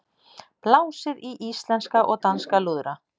Blásið í íslenska og danska lúðra